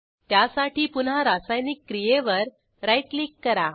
त्यासाठी पुन्हा रासायनिक क्रियेवर राईट क्लिक करा